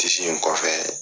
in kɔfɛ